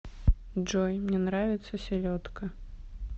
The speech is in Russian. джой мне нравится селедка